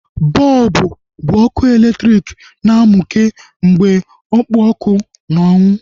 Bọlbụ bụ ọkụ elektriki na-mukee mgbe ọkpụ ọkụ n'ọnụ